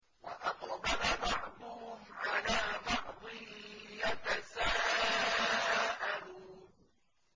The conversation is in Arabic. وَأَقْبَلَ بَعْضُهُمْ عَلَىٰ بَعْضٍ يَتَسَاءَلُونَ